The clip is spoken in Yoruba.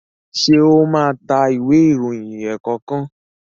ṣe o má ta Ìwé ìròyìn ẹ̀ẹ̀kọ̀kan?